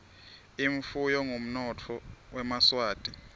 imfuyo ngumnotfo wemaswati